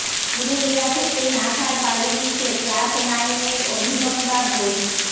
পুরুলিয়া থেকে নাসায় পাড়ি দিচ্ছে ক্লাস নাইনের অভিনন্দা ঘোষ